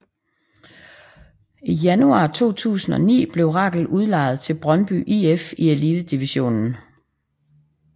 I januar 2009 blev Rakel udlejet til Brøndby IF i Elitedivisionen